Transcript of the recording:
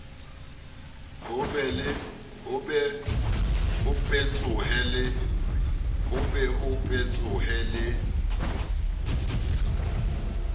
ho be ho petsohe le